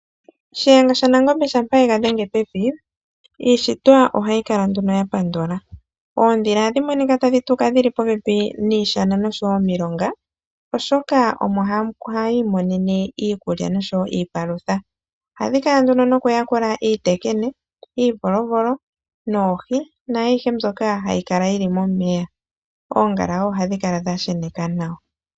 Shiyenga shaNangombe shampa ega dhenge pevi, iishitwa ohayi kala nduno ya pandula. Oondhila ohadhi monika tadhi tuka dhili popepi niishana noshowo omilonga, oshoka omo hayi imonene iikulya noshowo iipalutha. Ohadhi kala nduno noku yakula iitekene, iivolovolo noohi naayihe mbyoka hayi kala yili momeya. Oongala wo ohadhi kala dha sheneka nawa.